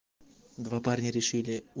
два парня решили у